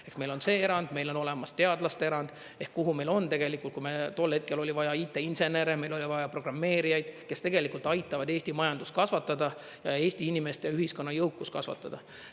Ehk meil on see erand, meil on olemas teadlaste erand, ehk kuhu meil on tegelikult, kui meil tol hetkel oli vaja IT-insenere, meil oli vaja programmeerijaid, kes tegelikult aitavad Eesti majandust kasvatada ja Eesti inimeste ja ühiskonna jõukust kasvatada.